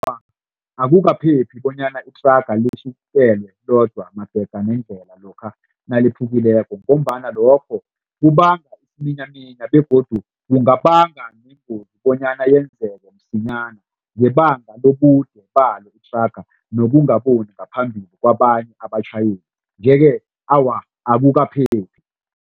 Awa, akukaphephi bonyana ithraga litjhifitelwe lodwa magega nendlela lokha naliphukileko ngombana lokho kubanga isiminyaminya begodu kungabanga neengozi bonyana yenzeke msinyana ngebanga lobude balo ithraga nokungaboni ngaphambili kwabanye abatjhayeli nje-ke awa akukaphephi.